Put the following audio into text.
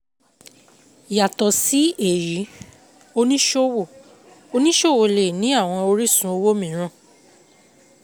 Yàtọ̀ sí èyí, oníṣòwò oníṣòwò lé nì àwọn orísun owó mìíràn.